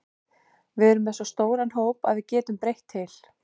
Við erum með svo stóran hóp að við getum breytt til.